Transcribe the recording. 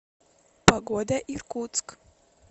погода иркутск